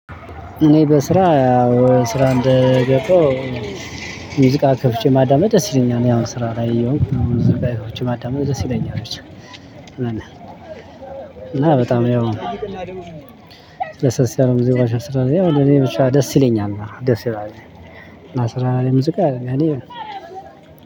እኔ በስራ ስራ እንደገባሁ። ሙዚቃ ከፍቼ ማዳመጥ ደስ ይለኛል ያው ስራ ላይ ሙዝቃዎች ማዳመጥ ደስ ይለኛል። እና በጣም ያው ለስለስ ያሉ ሙዚቃዎች። ደስ ይለኛል። እና ስራ ላይ ሙዚቃ አለ እኔ